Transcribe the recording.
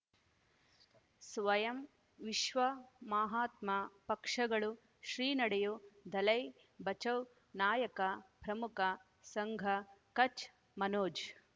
ಸ್ವಯಂ ವಿಶ್ವ ಮಹಾತ್ಮ ಪಕ್ಷಗಳು ಶ್ರೀ ನಡೆಯೂ ದಲೈ ಬಚೌ ನಾಯಕ ಪ್ರಮುಖ ಸಂಘ ಕಚ್ ಮನೋಜ್